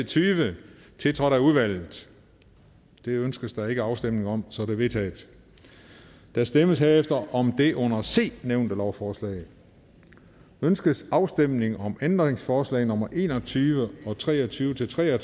tyve tiltrådt af udvalget det ønskes der ikke afstemning om så de er vedtaget der stemmes herefter om det under c nævnte lovforslag ønskes afstemning om ændringsforslag nummer en og tyve og tre og tyve til tre og